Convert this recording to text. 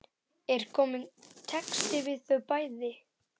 Er kominn texti við þau bæði?